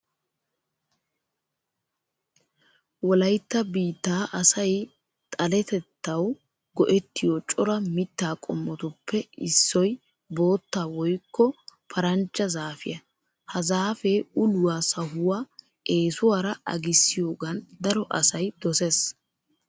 Wolaytta biittaa asay xaletettawu go"ettiyo cora mittaa qommotuppe issoy bootta woykka paranjja zaafiya. Ha zaafee uluwa sahuwa eesuwara agissiyogan daro asay dosees.